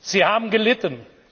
Sie haben gelitten!